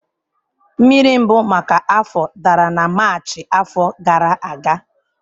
Mmiri mbụ maka afọ dara na Maachị afọ gara aga.